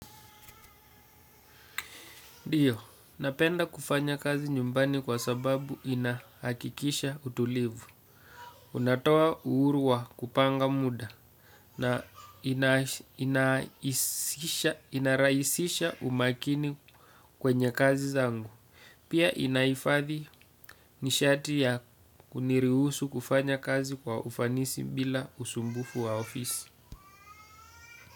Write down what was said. Diyo, napenda kufanya kazi nyumbani kwa sababu inahakikisha utulivu. Unatoa uhuru wa kupanga muda na ina inarahisisha umakini kwenye kazi zangu. Pia inaifadhi nishati ya kuniruhusu kufanya kazi kwa ufanisi bila usumbufu wa ofisi.